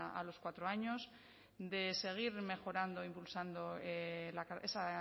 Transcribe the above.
a los cuatro años de seguir mejorando impulsando esa